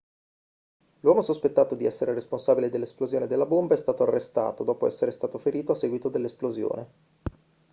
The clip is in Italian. l'uomo sospettato di essere il responsabile dell'esplosione della bomba è stato arrestato dopo essere stato ferito a seguito dell'esplosione